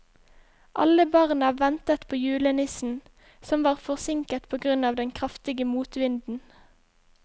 Alle barna ventet på julenissen, som var forsinket på grunn av den kraftige motvinden.